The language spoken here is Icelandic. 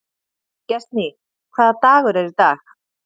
Gestný, hvaða dagur er í dag?